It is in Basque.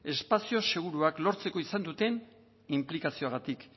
espazio seguruak lortzeko izan duten inplikazioagatik